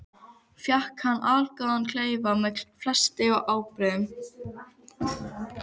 Fékk hann þar allgóðan klefa með fleti og ábreiðum.